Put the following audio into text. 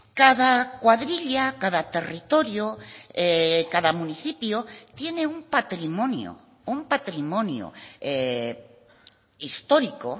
cada cuadrilla cada territorio cada municipio tiene un patrimonio un patrimonio histórico